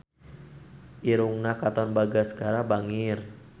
Irungna Katon Bagaskara bangir